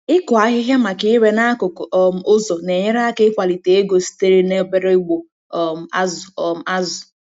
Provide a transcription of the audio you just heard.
Ịkụ ahịhịa maka ire n'akụkụ um ụzọ na-enyere aka ịkwalite ego sitere n'obere ugbo um azụ um azụ.